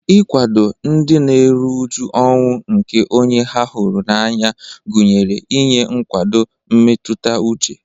Ịkwado ndị na-eru uju ọnwụ nke onye ha hụrụ n'anya gụnyere inye nkwado mmetụta uche.